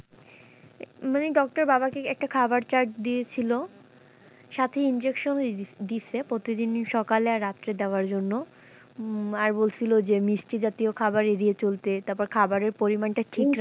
মানে doctor বাবা কে একটা খাওয়ার chart দিয়েছিল সাথে injection ও দিয়েছে প্রতিদিন ই সকালে আর রাত্রে দেওয়ার জন্য উম আর বলছিল যে মিষ্টি জাতীয় খাওয়ার এড়িয়ে চলতে তারপরে খাওয়ারের পরিমান টা ঠিক,